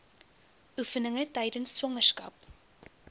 oefeninge tydens swangerskap